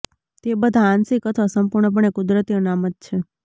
તે બધા આંશિક અથવા સંપૂર્ણપણે કુદરતી અનામત છે